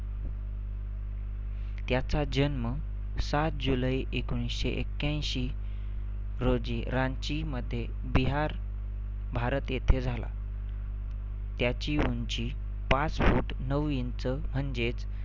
त्याचा जन्म सात जुलै एकोणीसशे एक्याऐंशी रोजी रांचीमध्ये बिहार, भारत येथे झाला. त्याची उंची पाच foot नऊ इंच म्हणजेच